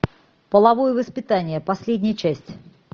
половое воспитание последняя часть